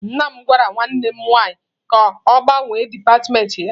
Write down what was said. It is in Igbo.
Nna m gwara nwanne m nwaanyị ka ọ gbanwee dipatịmentị ya.